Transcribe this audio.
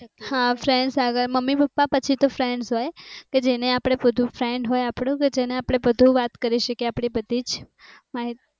હા friends આગળ mummy papa પછી તો friends હોય કે જેને આપણે બધુ આપણે friend હોય કે જે ને આપણું બધુ વાત કરી શકીએ આપણી બધી જ